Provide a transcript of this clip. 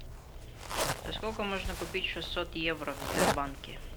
за сколько можно купить шестьсот евро в сбербанке